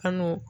Kan'o